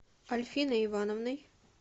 альфиной ивановной